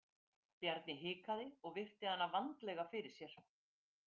Bjarni hikaði og virti hana vandlega fyrir sér.